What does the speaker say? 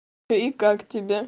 и как тебе